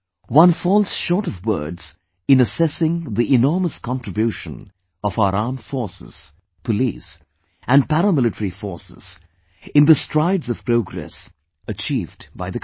One falls short of words in assessing the enormous contribution of our Armed Forces, Police and Para Military Forces in the strides of progress achieved by the country